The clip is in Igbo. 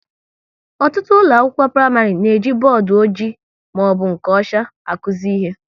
Ọtụtụ ụlọ akwụkwọ praịmarị na-eji bọọdụ ọjị maọbụ nke ọcha akuzi ihe